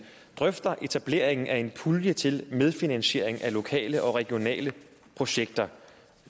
drøfter etableringen af en pulje til medfinansiering af lokale og regionale projekter